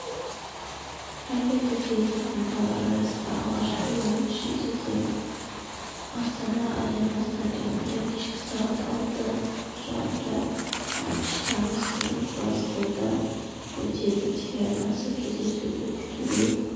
айта кетейік командалар арасындағы алғашқы ойын шілдеде астана-аренс стадионында кешкі сағат ал қарымта матч тамыз күні глазгода өтеді телеарнасы кездесуді тікелей